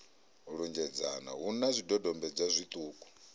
lunzhedzana hu na zwidodombedzwa zwiṱuku